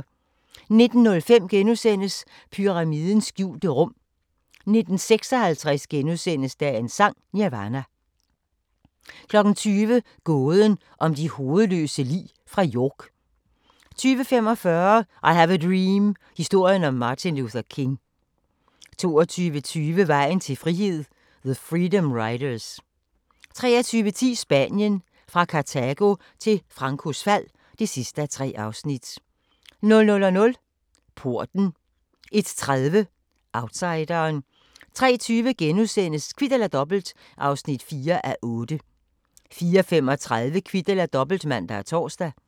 19:05: Pyramidernes skjulte rum * 19:56: Dagens Sang: Nirvana * 20:00: Gåden om de hovedløse lig fra York 20:45: I have a dream – historien om Martin Luther King 22:20: Vejen til frihed – the freedom riders 23:10: Spanien – fra Kartago til Francos fald (3:3) 00:00: Porten 01:30: Outsideren 03:20: Kvit eller Dobbelt (4:8)* 04:35: Kvit eller Dobbelt (man og tor)